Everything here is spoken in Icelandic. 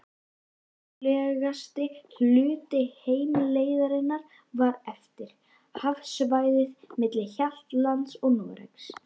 Hættulegasti hluti heimleiðarinnar var eftir, hafsvæðið milli Hjaltlands og Noregs.